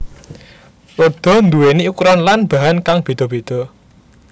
Roda nduwèni ukuran lan bahan kang béda béda